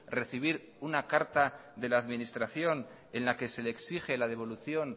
recibir una carta de la administración en la que se exige la devolución